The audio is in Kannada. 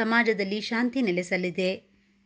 ಸಮಾಜದಲ್ಲಿ ಶಾಂತಿ ನೆಲೆಸಲಿದೆ